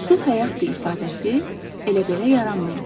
Su həyatdır ifadəsi elə belə yaranmayıb.